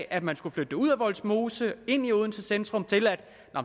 at man skulle flytte det ud af vollsmose og ind i odenses centrum til at